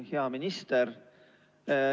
Hea minister!